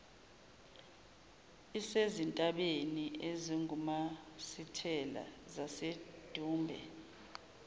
isezintabeni ezingumasithela zasedumbe